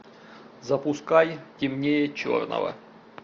запускай темнее черного